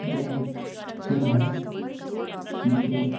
यह एक फील्ड है। फील्ड के ऊ --